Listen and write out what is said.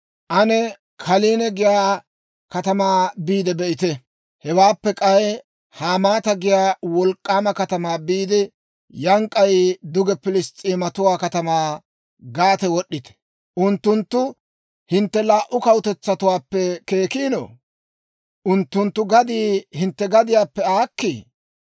Ane Kalnne giyaa katamaa biide be'ite. Hewaappe k'ay Hamaata giyaa wolk'k'aama katamaa biide, yaana k'ay duge Piliss's'eematuwaa katamaa Gaate wod'd'ite. Unttunttu hintte laa"u kawutetsatuwaappe keekkiino? Unttunttu gaddii hintte gadiyaappe aakkii?